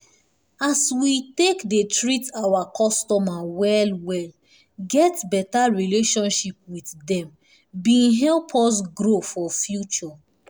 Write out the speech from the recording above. as we take dey treat oir customers well well get beta relationship with dem bin help us grow for future